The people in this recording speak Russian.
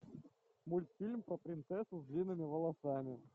мультфильм про принцессу с длинными волосами